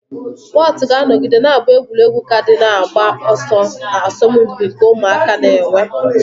Whotu ga-anọgide na-abụ egwuregwu kaadị na-agba ọsọ na asọmpi nke ụmụaka na-enwe.